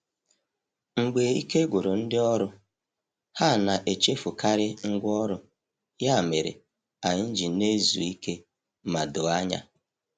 Mgbe ike gwụrụ ndị ọrụ, ha na-echefukarị ngwá ọrụ, ya mere anyị na-ezu ike ma doo anya.